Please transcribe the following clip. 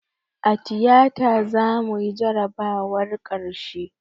A tiyata zamuyi jarabawar karshe